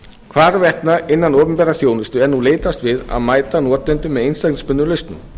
hvarvetna innan opinberrar þjónustu er nú leitast við að mæta notendum með einstaklingsbundnum lausnum